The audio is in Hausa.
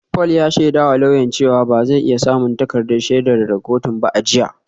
Paul ya shaidawa lauyan cewa ba zai iya samun takardar shaidar daga kotun ba a jiya